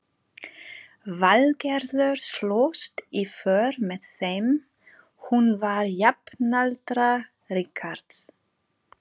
Valgerður slóst í för með þeim, hún var jafnaldra Richards.